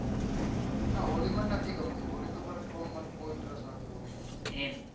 ના હોળી મને નથી ગમતું હોળી તો મને કોઈ interest નથી